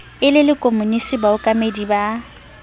e le lekomonisi baokamedi ba